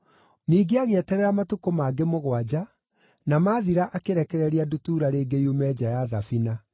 Ningĩ agĩeterera matukũ mangĩ mũgwanja, na maathira akĩrekereria ndutura rĩngĩ yume nja ya thabina.